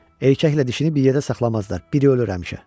Erkəklə dişini bir yerdə saxlamazlar, biri ölür həmişə.